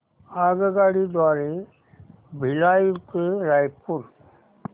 आगगाडी द्वारे भिलाई ते रायपुर